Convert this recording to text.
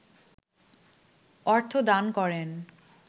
অর্থ দান করেন